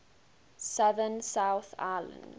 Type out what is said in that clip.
southern south island